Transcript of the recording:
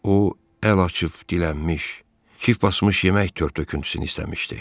O əl açıb dilənmiş, kip basmış yemək törtöküntüsünü istəmişdi.